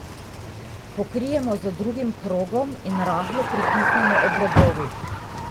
Pokrijemo z drugim krogom in rahlo pritisnemo ob robovih.